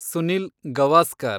Sunil Gavaskar